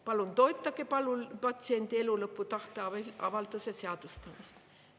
Palun toetage patsiendi elulõpu tahteavalduse seadustamist.